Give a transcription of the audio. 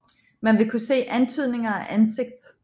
Man vil kunne se antydninger af ansigt